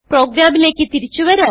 പ്രോഗ്രാമിലേക്ക് തിരിച്ചു വരാം